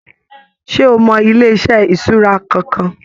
Ṣe o mọ ilé-iṣẹ ìṣura kankan?